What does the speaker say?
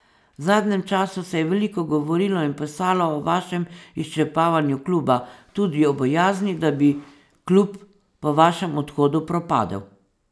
V zadnjem času se je veliko govorilo in pisalo o vašem izčrpavanju kluba, tudi o bojazni, da bi klub po vašem odhodu propadel.